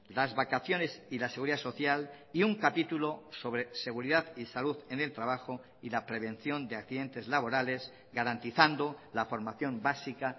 las vacaciones y la seguridad social y un capítulo sobre seguridad y salud en el trabajo y la prevención de accidentes laborales garantizando la formación básica